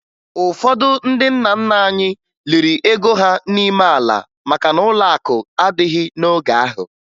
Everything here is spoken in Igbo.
Ụfọdụ ndị nna nna anyị liri ego ha n'ime ala maka na ụlọakụ adịghị n'oge ahụ